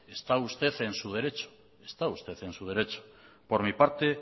está usted en su derecho por mi parte